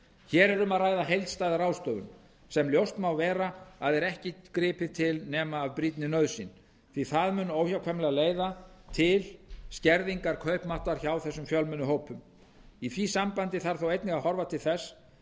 hér er um að ræða heildstæða ráðstöfun sem ljóst má vera að er ekki gripið til nema af brýnni nauðsyn því það mun óhjákvæmilega leiða til skerðingar kaupmáttar hjá þessum fjölmennu hópum í því sambandi þarf þó einnig að horfa til þess